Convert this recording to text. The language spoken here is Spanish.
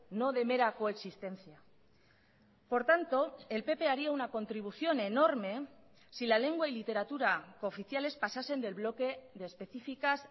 no de mera coexistencia por tanto el pp haría una contribución enorme si la lengua y literatura cooficiales pasasen del bloque de especificas